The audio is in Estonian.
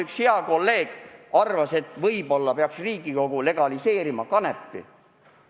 Üks hea kolleeg arvas, et võib-olla peaks Riigikogu legaliseerima kanepi.